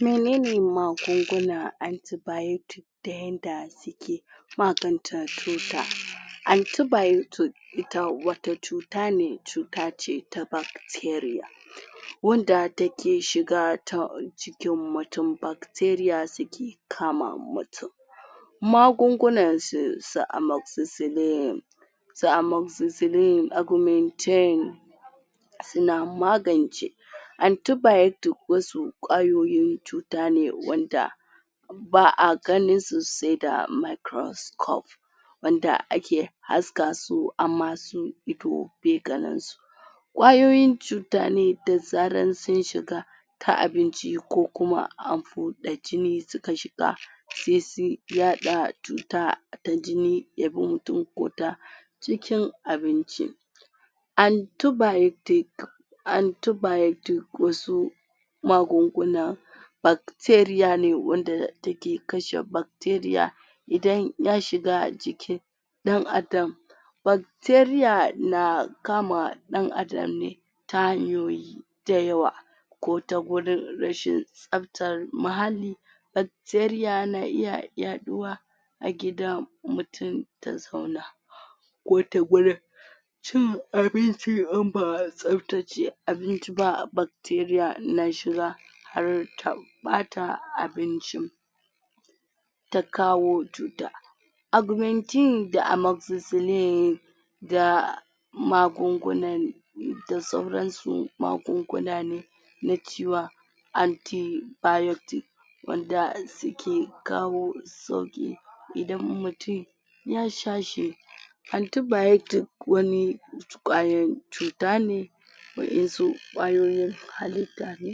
menene magunguna antibiotic da yanda suke maganta cuta antibiotic ita wata cuta ne cuta ce ta bacteria wanda take shiga ta jikin mutum bacteria suke kama mutum magungunan su su amoxycillin su amoxycillin, augmentin suna magance antibiotic wasu ƙwayoyi cuta ne wanda ba'a ganin su se da microscope wanda ake haska su amma su ido be ganin su ƙwayoyin cuta ne da zaran sun shiga ta abinci ko kuma an buɗe jini suka shiga se su yaɗa cuta ta jini ya bi mutum ko ta cikin abinci antibiotic antibiotic wasu magunguna bacteria ne wanda take kashe bacteria idan ya shiga jikin ɗan Adam bacteria na kama ɗan Adam ne ta hanyoyi da yawa ko ta gurin rashin tsabtar muhalli bacteria na iya yaɗuwa a gida mutum ko ta cin abinci in ba a tsabtace abinci ba bacteria na shiga har ta ɓata abinci ta kawo cuta augmentin da amoxycillin da magungunan da sauran su magunguna ne na antibiotic wanda suke kawo sauƙi idan mutum ya sha shi antibiotic wani ƙwayan cuta ne wa'ensu ƙwayoyin halitta ne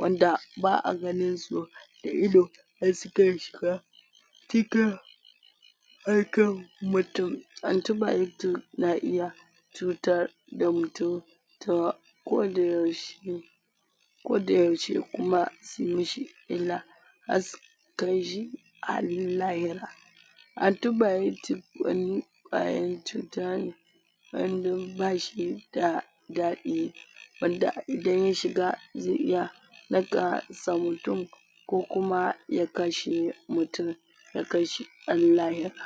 wanda ba'a ganin su da ido da suke shiga cikin aikan mutum antibiotic na iya cutar da mutum ta ko da yaushe ko da yaushe kuma suyi mi shi illa kai shi har lahira antibiotic wani ƙwayan cuta ne wanda bashi da daɗi wanda idan ya shiga ze iya naka sa mutum kokuma ya kashe mutum ya kai shi har lahira